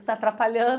Está atrapalhando.